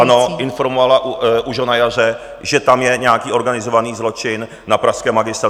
Ano, informovala už ho na jaře, že tam je nějaký organizovaný zločin na pražském magistrátu.